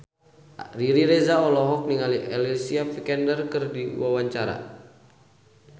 Riri Reza olohok ningali Alicia Vikander keur diwawancara